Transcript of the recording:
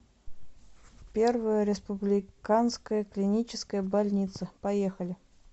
первая республиканская клиническая больница поехали